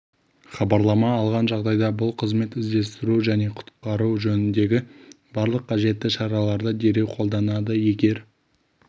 хабарлама алған жағдайда бұл қызмет іздестіру және құтқару жөніндегі барлық қажетті шараларды дереу қолданады егер